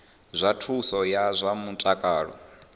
zwa thuso ya zwa mutakalo